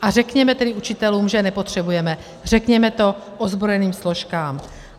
A řekněme tedy učitelům, že je nepotřebujeme, řekněme to ozbrojeným složkám.